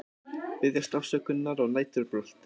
Biðjast afsökunar á næturbrölti